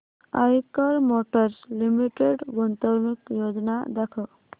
Eicher motors limited गुंतवणूक योजना दाखव